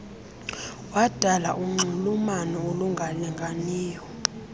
wadala unxulumano olungalinganiyo